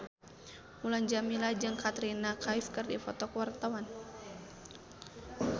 Mulan Jameela jeung Katrina Kaif keur dipoto ku wartawan